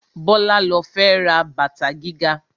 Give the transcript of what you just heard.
Bọ́lá ló fẹ́ ra bàtà gíga